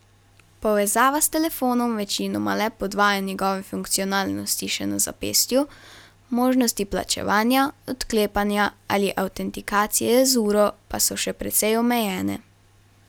Povezava s telefonom večinoma le podvaja njegove funkcionalnosti še na zapestju, možnosti plačevanja, odklepanja ali avtentikacije z uro pa so še precej omejene.